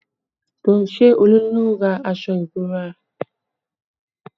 Ṣé Olú ló rà aṣọ ìbora?